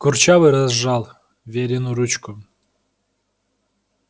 курчавый разжал верину ручку